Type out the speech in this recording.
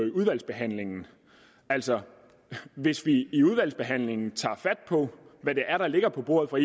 i udvalgsbehandlingen altså hvis vi i udvalgsbehandlingen tager fat på hvad det er der ligger på bordet fra